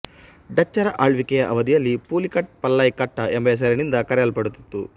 ಡಚ್ಚರ ಆಳ್ವಿಕೆಯ ಅವಧಿಯಲ್ಲಿ ಪುಲಿಕಾಟ್ ಪಲ್ಲೈಕಟ್ಟ ಎಂಬ ಹೆಸರಿನಿಂದ ಕರೆಯಲ್ಪಡುತ್ತಿತ್ತು